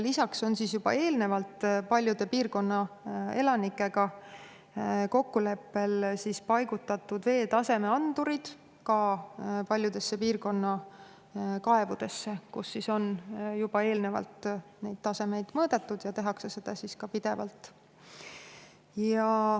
Lisaks on juba eelnevalt piirkonna elanikega kokkuleppel paigutatud veetaseme andurid ka paljudesse piirkonna kaevudesse, kus on juba varem vee taset mõõdetud ja kus tehakse seda ka pidevalt.